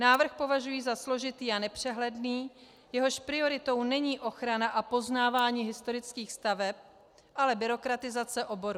Návrh považují za složitý a nepřehledný, jehož prioritou není ochrana a poznávání historických staveb, ale byrokratizace oboru.